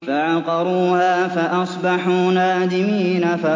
فَعَقَرُوهَا فَأَصْبَحُوا نَادِمِينَ